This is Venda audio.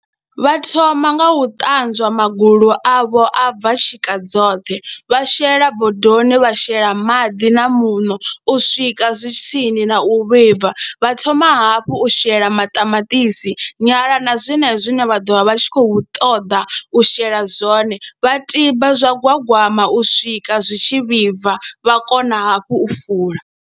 Vha thoma nga u ṱanzwa magulu avho a bva tshika dzoṱhe, vha shela bodoni wa shela maḓi na muṋo u swika zwi tsini na u vhibva, vha thoma hafhu u shela maṱamaṱisi, nyala na zwenezwo zwine vha ḓo vha vha tshi khou ṱoḓa u shela zwone, vha tiba zwa gwagwama u swika zwi tshi vhibva vha kona hafhu u fula.